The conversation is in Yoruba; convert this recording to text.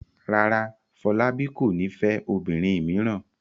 Rárá, Fọlábí kò ní fẹ́ obìnrin mìíràn.